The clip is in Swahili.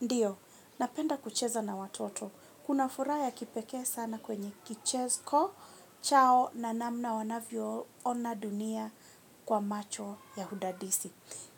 Ndiyo, napenda kucheza na watoto, kuna furaha ya kipekee sana kwenye kicheko, chao na namna wanavyo ona dunia kwa macho ya hudadisi.